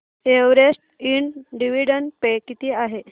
Everest Ind dividend pay किती आहे